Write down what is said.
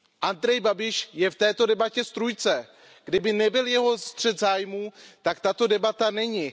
Andrej Babiš je v této debatě strůjce. Kdyby nebyl jeho střet zájmů, tak tato debata není.